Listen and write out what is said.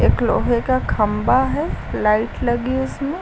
एक लोहे का खंबा है लाइट लगी है उसमें।